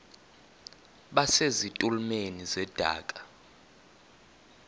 base zitulmeni zedaka